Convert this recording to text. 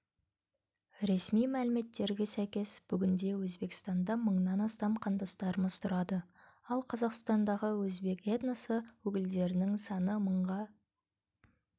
ресми мәліметтерге сәйкес бүгінде өзбекстанда мыңнан астам қандастарымыз тұрады ал қазақстандағы өзбек этносы өкілдерінің саны мыңға